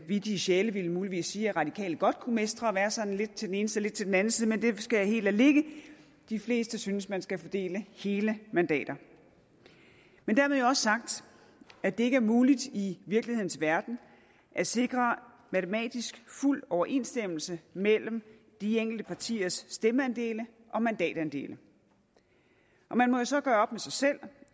vittige sjæle ville muligvis sige at radikale godt kunne mestre at være sådan lidt til den ene side til den anden side men det skal jeg helt lade ligge de fleste synes at man skal fordele hele mandater men dermed jo også sagt at det ikke er muligt i virkelighedens verden at sikre matematisk fuld overensstemmelse mellem de enkelte partiers stemmeandele og mandatandele man må jo så gøre op med sig selv